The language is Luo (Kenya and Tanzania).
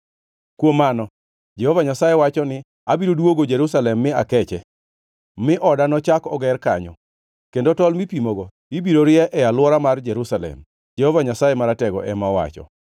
“Kuom mano, Jehova Nyasaye wacho ni, ‘Abiro duogo Jerusalem mi akeche, mi oda nochak oger kanyo; kendo tol mipimogo ibiro rie e alwora mar Jerusalem,’ Jehova Nyasaye Maratego ema owacho.